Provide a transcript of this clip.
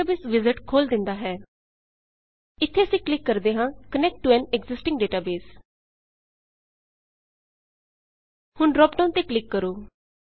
ਇੱਥੇ ਅਸੀਂ ਕਲਿੱਕ ਕਰਦੇ ਹਾਂ -Connect to an existing database connect to an existing database ਹੁਣ ਡ੍ਰਾਪਡਾਉਨ ਤੇ ਕਲਿੱਕ ਕਰੋ